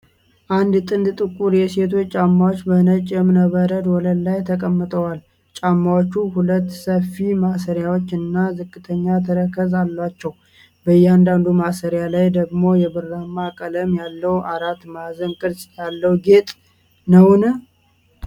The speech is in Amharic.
አንድ ጥንድ ጥቁር የሴቶች ጫማዎች በነጭ የእብነበረድ ወለል ላይ ተቀምጠዋል። ጫማዎቹ ሁለት ሰፊ ማሰሪያዎችና ዝቅተኛ ተረከዝ አላቸው። በእያንዳንዱ ማሰሪያ ላይ ደግሞ የብርማ ቀለም ያለው አራት ማዕዘን ቅርጽ ያለው ጌጥ ነውን?